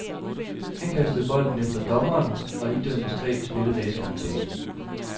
Han kastede bolden efter dommeren og idømtes tre spilledages karantæne.